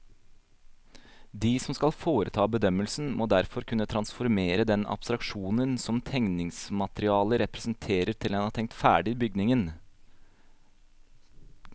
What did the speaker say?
De som skal foreta bedømmelsen, må derfor kunne transformere den abstraksjonen som tegningsmaterialet representerer til en tenkt ferdig bygning.